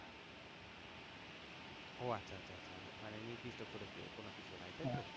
ও আচ্ছা আচ্ছা আচ্ছা মানে নির্দিষ্ট করে কোন কিছু নাই তাইতো?